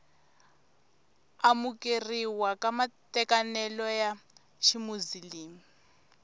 amukeriwa ka matekanelo ya ximuzilimi